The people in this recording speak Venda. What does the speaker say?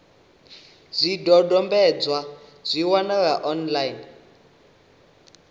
zwidodombedzwa zwi a wanalea online